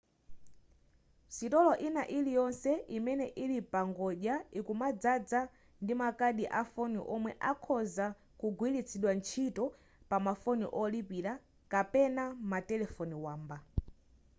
sitolo ina iliyonse imene ili pangodya ikumadzaza ndi makadi a foni omwe akhoza kugwiritsidwa ntchito pama foni olipira kapena matelefoni wamba